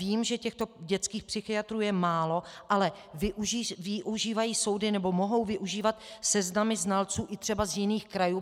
Vím, že těchto dětských psychiatrů je málo, ale využívají soudy, nebo mohou využívat, seznamy znalců i třeba z jiných krajů?